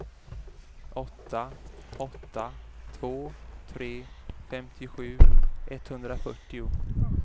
åtta åtta två tre femtiosju etthundrafyrtio